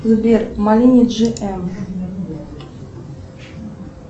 сбер малини джи эм